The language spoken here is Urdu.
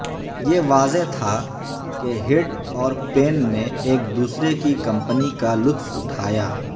یہ واضح تھا کہ ہڈ اور پین نے ایک دوسرے کی کمپنی کا لطف اٹھایا